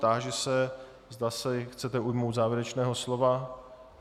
Táži se, zda se chcete ujmout závěrečného slova.